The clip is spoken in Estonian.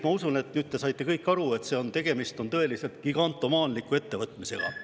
Ma usun, et nüüd te saite kõik aru, et tegemist on tõeliselt gigantomaanialiku ettevõtmisega.